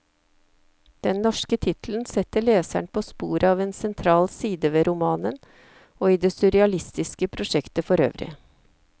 Den norske tittelen setter leseren på sporet av en sentral side ved romanen, og i det surrealistiske prosjektet forøvrig.